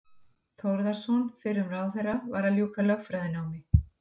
Þórðarson fyrrum ráðherra, var að ljúka lögfræðinámi.